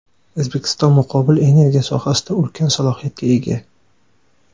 O‘zbekiston muqobil energiya sohasida ulkan salohiyatga ega.